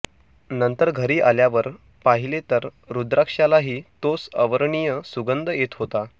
नंतर घरी आल्यावर पाहिले तर रुद्राक्षालाही तोच अवर्णनीय सुगंध येत होता